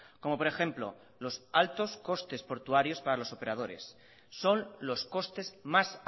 como por ejemplo los altos costes portuarios para los operadores son los costes más